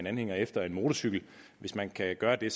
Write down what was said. anhænger efter en motorcykel hvis man kan gøre det